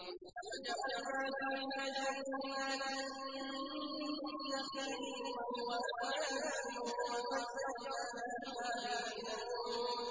وَجَعَلْنَا فِيهَا جَنَّاتٍ مِّن نَّخِيلٍ وَأَعْنَابٍ وَفَجَّرْنَا فِيهَا مِنَ الْعُيُونِ